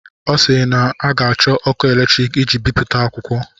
Ọ sịịrị na a ga-achọ ọkụ eletrik iji bipụta akwụkwọ.